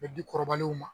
U bɛ di kɔrɔbalenw ma